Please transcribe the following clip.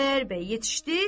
Xudayar bəy yetişdi.